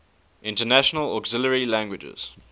international auxiliary languages